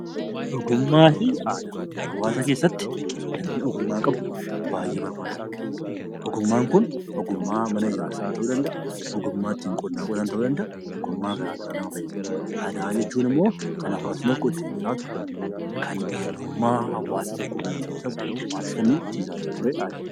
Hawaasa keessatti namni ogummaa qabu baay'ee barbaadama. Ogummaan kun ogummaa mana ijaarsaa ta'uu danda'a. Ogummaa ittiin qotan ta'uu danda'a. Aadaa jechuun immoo kan eenyummaa hawaasa tokkoo ittiin ibsamu wantoota inni ittiin jiraachaa ture aadaa jennee waamna.